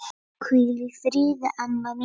Hvíl í friði, amma mín.